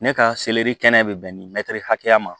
Ne ka seleri kɛnɛ bɛ bɛn nin mɛtiri hakɛya ma